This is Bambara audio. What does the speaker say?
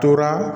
Tora